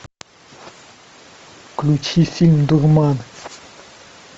включи фильм дурман